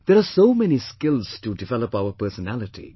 " There are so many skills to develop our personality